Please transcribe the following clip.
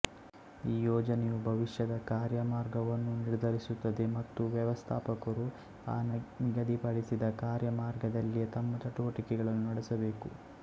ಈ ಯೋಜನೆಯು ಭವಿಷ್ಯದ ಕಾರ್ಯಮಾರ್ಗವನ್ನು ನಿರ್ಧರಿಸುತ್ತದೆ ಮತ್ತು ವ್ಯವಸ್ಥಾಪಕರು ಆ ನಿಗದಿಪಡಿಸಿದ ಕಾರ್ಯಮಾರ್ಗದಲ್ಲಿಯೇ ತಮ್ಮ ಚಟುವಟಿಕೆಗಳನ್ನು ನಡೆಸಬೇಕು